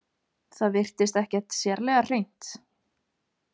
Það virtist ekkert sérlega hreint.